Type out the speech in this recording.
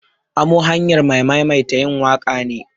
Amo hanyar maimaita yin waƙa ne.